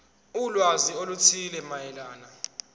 ulwazi oluthile mayelana